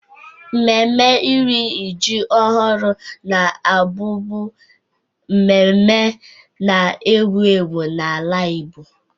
Nmemme iri ji ọhụrụ na-abụbu nmemme na-ewu ewu n'ala Igbo